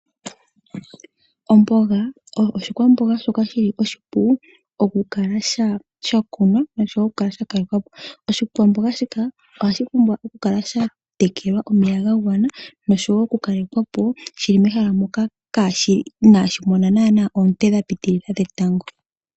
Omboga oyo oshikwamboga shoka shili oshipu okukala sha kunwa noshowo okukala sha kalekwa po. Oshikwamboga shika ohashi pumbwa okukala sha tekelwa omeya ga gwana. Noshowo okukalekwa po shili mehala moka inaashi mona naanaa oonte dhetango dha piitilila.